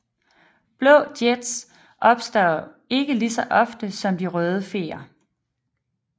Blå jets opstår ikke ligeså ofte som de røde feer